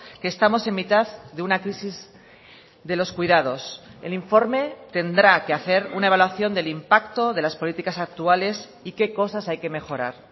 que estamos en mitad de una crisis de los cuidados el informe tendrá que hacer una evaluación del impacto de las políticas actuales y qué cosas hay que mejorar